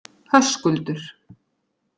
Höskuldur